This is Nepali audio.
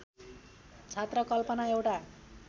छात्र कल्पना एउटा